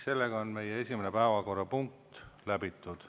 Sellega on meie esimene päevakorrapunkt läbitud.